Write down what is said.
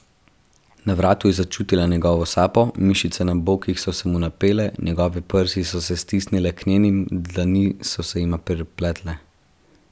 Na vratu je začutila njegovo sapo, mišice na bokih so se mu napele, njegove prsi so se stisnile k njenim, dlani so se jima prepletle.